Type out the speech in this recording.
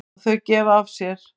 Og þau gefa af sér.